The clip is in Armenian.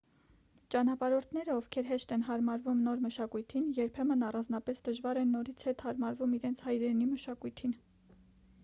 ճանապարհորդները ովքեր հեշտ են հարմարվում նոր մշակույթին երբեմն առանձնապես դժվար են նորից հետ հարմարվում իրենց հայրենի մշակույթին